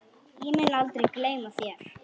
Ég mun aldrei gleyma þér.